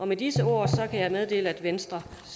med disse ord kan jeg meddele at venstre